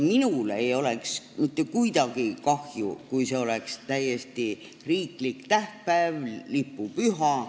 Minul ei oleks mitte sugugi kahju, kui see oleks riiklik tähtpäev, lipupüha.